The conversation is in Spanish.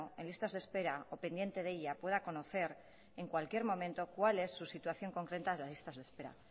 en listas de espera o pendiente de ella pueda conocer en cualquier momento cuál es su situación concreta en las listas de espera